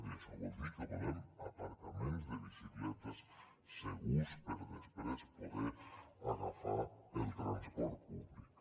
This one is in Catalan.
i això vol dir que volem aparcaments de bicicletes segurs per després poder agafar el transport públic